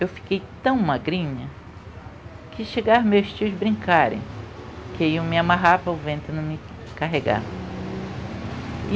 Eu fiquei tão magrinha que chegaram meus tios brincarem, que iam me amarrar para o vento não me carregar.